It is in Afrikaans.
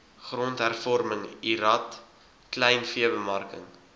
grondhervorming lrad kleinveebemarking